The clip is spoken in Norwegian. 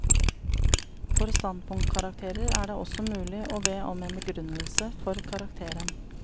For standpunktkarakterer er det også mulig å be om en begrunnelse for karakteren.